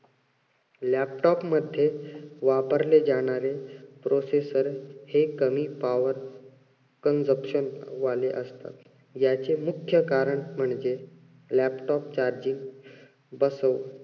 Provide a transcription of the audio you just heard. laptop मध्ये वापरले जाणारे processor हे कमी consumption वाले असतात. याचे मुख्य कारण म्हणजे laptop charging